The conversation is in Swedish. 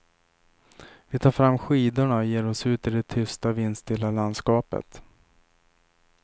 Vi tar fram skidorna och ger oss ut i det tysta vindstilla landskapet.